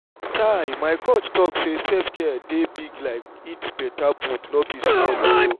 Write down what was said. chai my coach talk say self-care dey big like eat beta food no be small o!